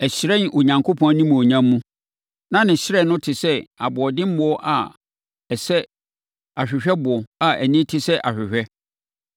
Ɛhyerɛn Onyankopɔn animuonyam mu, na ne hyerɛn no te sɛ aboɔdenboɔ a ɛsɛ ahwehwɛboɔ a ani te sɛ ahwehwɛ.